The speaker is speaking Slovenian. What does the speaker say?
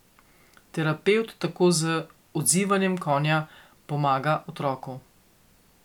Terapevt tako z odzivanjem konja pomaga otroku.